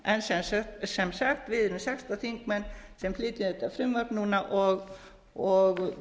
en sem sagt við erum sextán þingmenn sem flytjum þátt frumvarp núna og